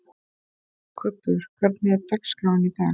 Kubbur, hvernig er dagskráin í dag?